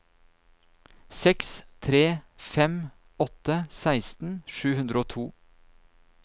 seks tre fem åtte seksten sju hundre og to